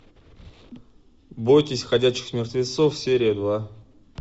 бойтесь ходячих мертвецов серия два